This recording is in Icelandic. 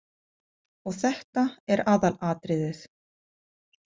Og þetta er aðalatriðið.